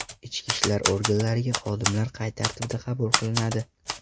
Ichki ishlar organlariga xodimlar qay tartibda qabul qilinadi?